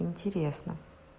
интересно